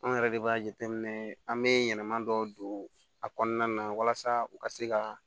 Anw yɛrɛ de b'a jateminɛ an bɛ yɛlɛma dɔ don a kɔnɔna na walasa u ka se ka